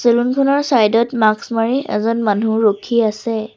Side ত mask মাৰি এজন মানুহ ৰখি আছে।